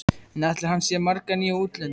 En ætlar hann sér marga nýja útlendinga?